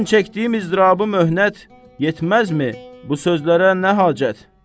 Mən çəkdiyim izdırabı möhnət yetməzmi, bu sözlərə nə hacət?